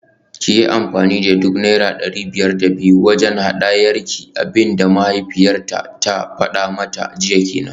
Kiyi amfani da duk naira dari biyar da biyu wajen hadayarki, abinda mahaifiyarta ta fada mata jiya kenan